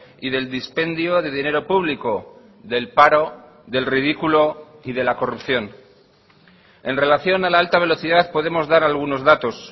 y del dispendio de dinero público del paro del ridículo y de la corrupción en relación a la alta velocidad podemos dar algunos datos